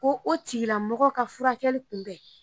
Ko o tigilamɔgɔ ka furakɛli kunbɛn